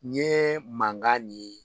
Nin ye mankan nin ye